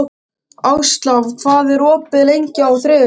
Ásla, hvað er opið lengi á þriðjudaginn?